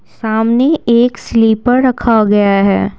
सामने एक स्लीपर रखा गया है।